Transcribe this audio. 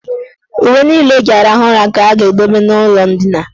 Uwe niile o ji arahụ ụra ga a ga-edobe n' ụlọ ndina.